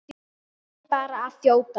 Verð bara að þjóta!